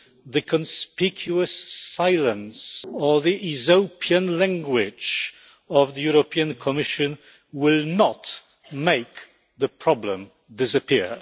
the conspicuous silence or the Aesopian language of the European Commission will not make the problem disappear.